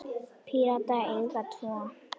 Píratar eiga tvo.